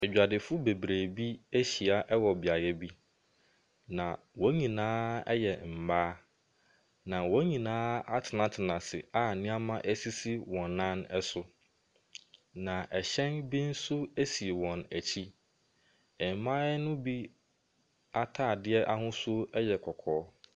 Adwadifoɔ bebere ahyia wɔ beaeɛ bi na wɔn nyinaa yɛ mmaa na wɔn nyinaa atenatena ase a nneɛma sisi wɔn nan so. Na ɛhyɛn bi nso si wɔn akyi. Mmaa no bi ataadeɛ ahosuo yɛ kɔkɔɔ.